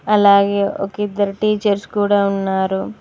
అలాగే ఒకిద్దరు టీచర్స్ కూడా ఉన్నారు.